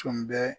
Tun bɛ